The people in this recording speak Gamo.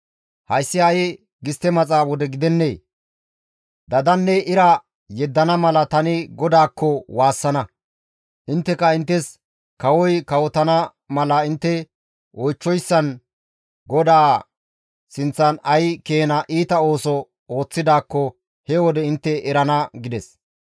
Hayssi ha7i gistte maxa wode gidennee? Dadanne ira yeddana mala tani GODAAKKO waassana; intteka inttes kawoy kawotana mala intte oychchoyssan GODAA sinththan ay keena iita ooso ooththidaakko he wode intte erana» gides.